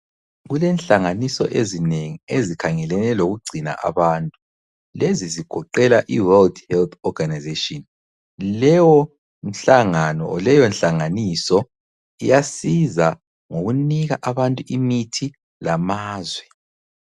Kulenhlanganiso ezinengi ezikhangelane lokugcina abantu. Lezi zigoqela iWorld Health Organization. Leyonhlangano leyonhlanganiso iyasiza ngokunika abantu imithi lamazwe.